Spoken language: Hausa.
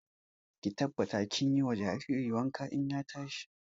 Ki tabbata kin yi wa jaririn wanka in ya tashi!